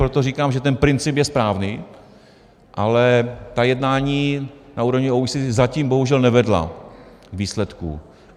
Proto říkám, že ten princip je správný, ale ta jednání na úrovni OECD zatím bohužel nevedla k výsledku.